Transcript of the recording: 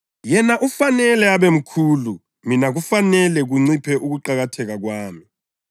Yena ufanele abemkhulu; mina kufanele kunciphe ukuqakatheka kwami.”